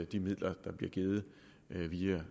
de midler der bliver givet via